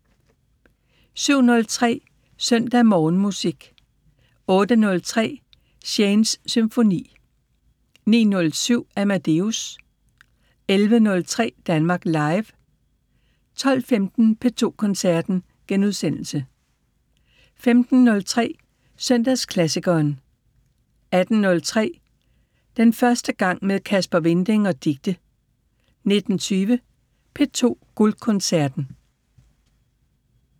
07:03: Søndag Morgenmusik 08:03: Shanes Symfoni 09:07: Amadeus 11:03: Danmark Live 12:15: P2 Koncerten * 15:03: Søndagsklassikeren 18:03: Den første gang med Kasper Winding og Dicte 19:20: P2 Guldkoncerten